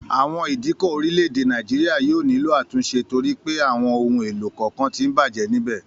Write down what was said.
Àwọn ìdíkọ̀ orílẹ̀ èdè Nàìjíríà yóò nílò àtúnṣe torí pé àwọn ohun èlò kọ̀ọ̀kan tí ń bàjẹ́ níbẹ̀